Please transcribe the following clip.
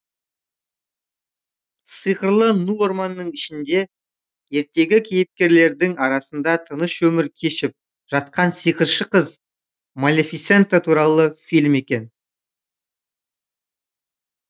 сиқырлы ну орманның ішінде ертегі кейіпкерлерінің арасында тыныш өмір кешіп жатқан сиқыршы қыз малефисента туралы фильм екен